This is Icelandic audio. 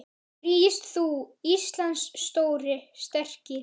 Rís þú, Íslands stóri, sterki